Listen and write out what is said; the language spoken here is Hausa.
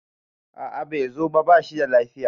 a a Bai zo ba, ba shi da lafiya